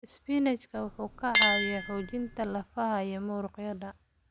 Isbinaashka wuxuu ka caawiyaa xoojinta lafaha iyo muruqyada.